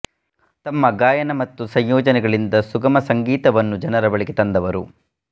ತಮ್ಮ ಗಾಯನ ಮತ್ತು ಸಂಯೋಜನೆಗಳಿಂದ ಸುಗಮ ಸಂಗೀತವನ್ನು ಜನರ ಬಳಿಗೆ ತಂದವರು